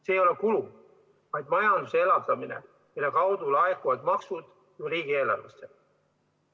See ei ole kulu, vaid majanduse elavdamine, selle kaudu laekuvad maksud riigieelarvesse.